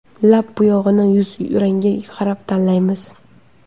Lab bo‘yog‘ini yuz rangiga qarab tanlaymiz.